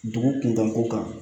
Dugu kuntan ko kan